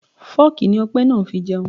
Fooki ni Ọpẹ máa ń fi jẹun.